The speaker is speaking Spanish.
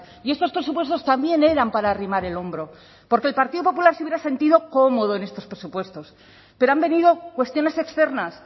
y estos presupuestos también eran para arrimar el hombro porque el partido popular se hubiera sentido cómodo en estos presupuestos pero han venido cuestiones externas